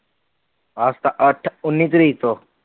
ਆਹ ਅੱਠ ਉੱਨੀ ਤਾਰੀਕ ਤੋਂ